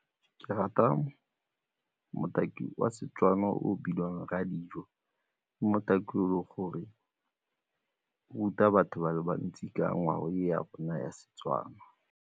Ke rata motaki wa Setswana o bidiwang Rradijo, ke motaki o e leng gore ruta batho ba le bantsi ka ngwao ya rona ya Setswana.